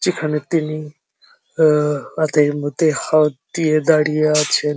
সেখানে তিনি আ হাত এর মধ্যে হাত দিয়ে দাঁড়িয়ে আছেন।